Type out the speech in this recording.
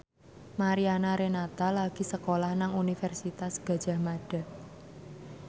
Mariana Renata lagi sekolah nang Universitas Gadjah Mada